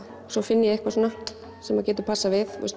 svo finn ég eitthvað svona sem getur passað við